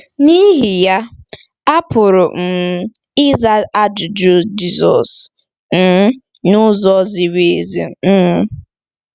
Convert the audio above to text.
N’ihi ya, a pụrụ um ịza ajụjụ Jisọs um n’ụzọ ziri ezi. um